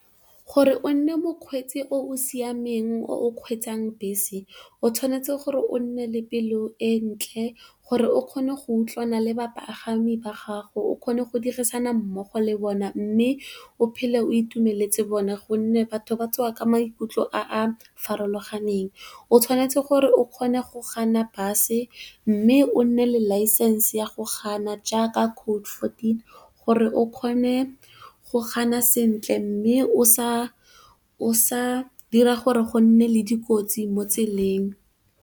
Gore o nne mokgweetsi o o siameng o kgweetsang bese o tshwanetse gore o nne le pelo e ntle gore o kgone go utlwana le bapagami ba gago, o kgone go dirisana mmogo le bone mme o phele o itumeletse bone. Gonne, batho ba tswa ka maikutlo a a farologaneng, o tshwanetse gore o kgone go kganna bese mme o nne le license ya go kganna jaaka code fourteen gore o kgone go kganna sentle mme o sa dira gore go nne le dikotsi mo tseleng.